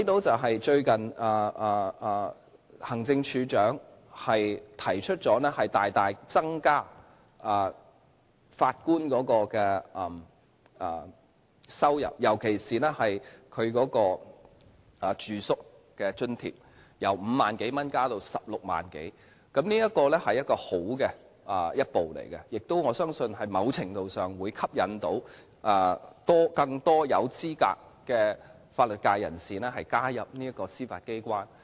最近行政會議提出大大增加法官的薪酬，尤其是他們的住宿津貼，由5萬多元增至16萬多元，這是好的一步，我亦相信在某程度上會吸引更多有資格的法律界人士加入司法機關。